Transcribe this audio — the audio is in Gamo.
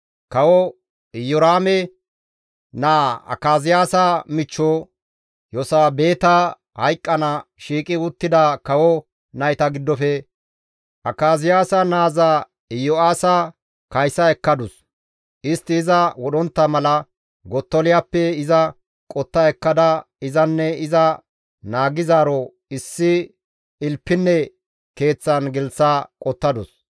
Kawo Iyoraame naa Akaziyaasa michcho Yosabeeta hayqqana shiiqi uttida kawo nayta giddofe Akaziyaasa naaza Iyo7aasa kaysa ekkadus. Istti iza wodhontta mala Gottoliyappe iza qotta ekkada izanne iza naagizaaro issi ilpinne keeththan gelththa qottadus.